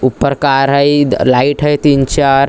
ऊपर कार है लाइट है तीन-चार--